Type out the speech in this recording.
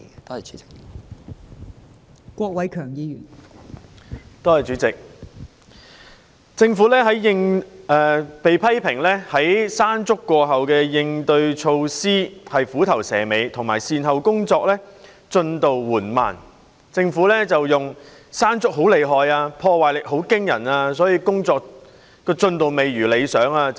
代理主席，政府在"山竹"過後的應對措施被批評為虎頭蛇尾，並且善後工作進度緩慢，而政府則指"山竹"風勢強勁及破壞力驚人，致使工作進度未如理想。